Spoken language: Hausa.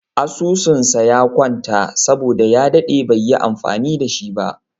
Asususn sa ya kwanta saboda ya daɗe baiyi amfani da shi ba